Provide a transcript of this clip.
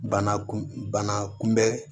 Bana kun bana kunbɛn